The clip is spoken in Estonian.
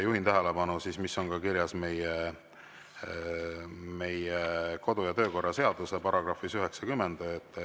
Juhin ka tähelepanu sellele, mis on kirjas meie kodu‑ ja töökorra seaduse §‑s 90.